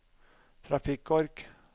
trafikkork